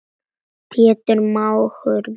Pétur mágur minn er látinn.